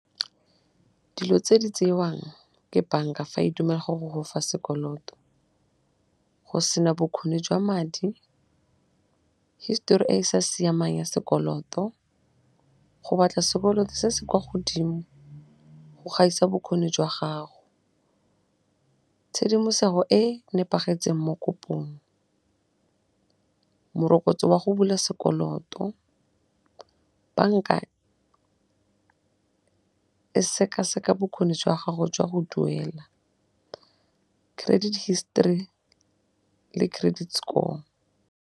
Dilo tse di tsewang ke banka fa e dumela go gofa sekoloto go sena bokgoni jwa madi, hisetori e e sa siamang ya sekoloto, go batla sekoloto se se kwa godimo go gaisa bokgoni jwa gago. Tshedimosego e nepagetseng mo kopong, morokotso wa go bula sekoloto, banka e sekaseka bokgoni jwa gago jwa go duela, credit history le credit score.